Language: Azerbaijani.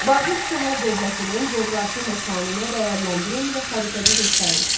Babil şəhər dövlətinin coğrafi məkanını dəyərləndirin və xəritədə göstərin.